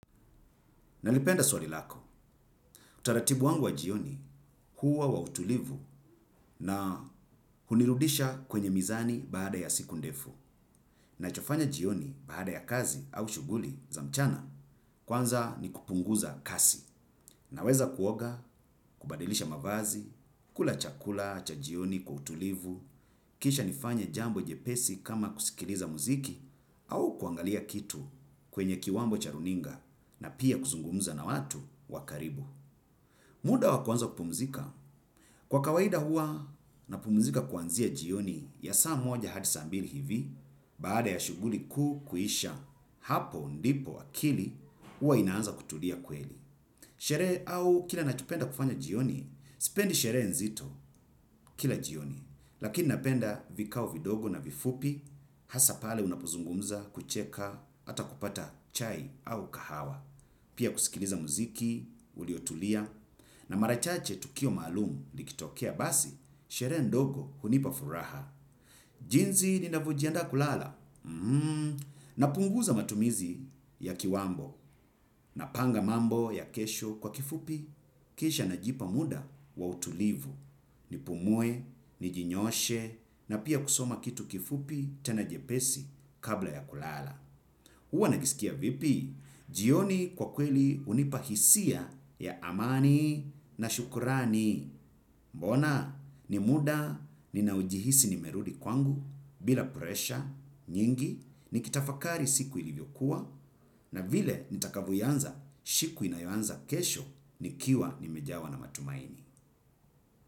Nalipenda swali lako, utaratibu wangu wa jioni huwa wa utulivu na hunirudisha kwenye mizani baada ya siku ndefu. Nachofanya jioni baada ya kazi au shughuli za mchana kwanza ni kupunguza kasi. Na weza kuoga, kubadilisha mavazi, kula chakula cha jioni kwa utulivu, kisha nifanya jambo jepesi kama kusikiliza muziki au kuangalia kitu kwenye kiwambo cha runinga na pia kuzungumza na watu wa karibu. Muda wa kuanza kupumzika, kwa kawaida hua napumzika kwanzia jioni ya saa moja hadi saa mbili hivi, baada ya shughuli kuu kuisha hapo ndipo akili, hua inaanza kutulia kweli. Sherehe au kile nachopenda kufanya jioni, sipendi sherehe nzito kila jioni, lakini napenda vikao vidogo na vifupi, hasa pale unapozungumza, kucheka ata kupata chai au kahawa. Pia kusikiliza muziki, uliotulia, na marachache tukio maalum likitokea basi, sherehe ndogo hunipa furaha. Jinsi ni navyo jianda kulala, na punguza matumizi ya kiwambo na panga mambo ya kesho kwa kifupi. Kisha najipa muda wa utulivu, ni pumue, ni jinyooshe, na pia kusoma kitu kifupi tena jepesi kabla ya kulala. Uwa najisikia vipi? Jioni kwa kweli hunipa hisia ya amani na shukurani. Mbona, ni muda ninaojihisi nimerudi kwangu bila puresha nyingi ni kitafakari siku ilivyokuwa na vile nitakavyo ianza shiku inayoanza kesho ni kiwa nimejawa na matumaini.